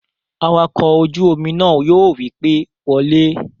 Awakọ̀ ojú-omi náà yóò wí pé, "Wọ lé!"